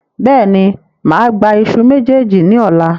Bẹ́ẹ̀ni, máa gba ìṣù mejeeji ni ọ̀la.